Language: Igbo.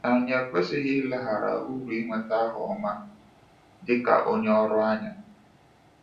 Anyị ekwesịghị ileghara uru ịnweta aha ọma dị ka onye ọrụ anya.